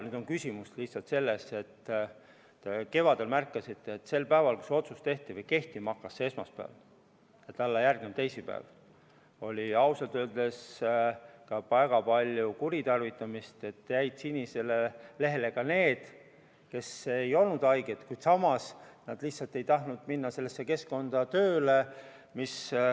Nüüd on küsimus lihtsalt selles, et kevadel, kui te märkasite, oli sel päeval, kui see otsus tehti või kehtima hakkas, sellel esmaspäeval ja järgneval päeval, teisipäeval, ausalt öeldes väga palju kuritarvitamisi, st sinisele lehele jäid ka need, kes ei olnud tegelikult haiged, nad lihtsalt ei tahtnud minna sellesse keskkonda tööle.